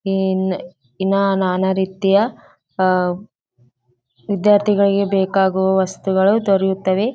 ಇನ್ ಇನ್ನ ನಾನಾ ರೀತಿಯ ಅಹ್‌ ವಿದ್ಯಾರ್ಥಿಗಳಿಗೆ ಬೇಕಾಗುವ ವಸ್ತುಗಳು ದೊರೆಯುತ್ತವೆ .